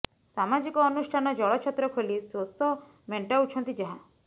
ସାମାଜିକ ଅନୁଷ୍ଠାନ ଜଳ ଛତ୍ର ଖୋଲି ଶୋଷ ମେଣ୍ଟାଉଛନ୍ତି ଯାହା